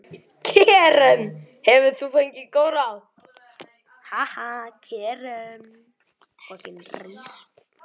Karen: Hefur þú fengið góð ráð?